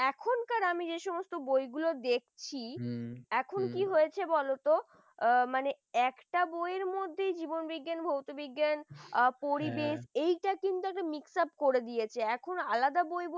এখন কর আমি যে সমস্ত বইগুলো দেখছি হম এখন কি হয়েছে বলতো অ মানে একটা বউয়ের মধ্যে জীবন বিজ্ঞান ভৌতিক বিজ্ঞান বা পরিবেশ এটা কিন্তু mixed up করে দিয়েছে এখন আলাদা বই বলতে